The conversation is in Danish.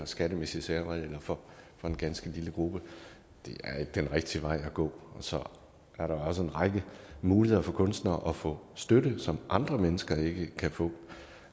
skattemæssige særregler for en ganske lille gruppe det er ikke den rigtige vej at gå så er der jo også en række muligheder for kunstnere for at få støtte som andre mennesker ikke kan få